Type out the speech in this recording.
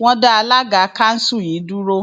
wọn dá alága kanṣu yìí dúró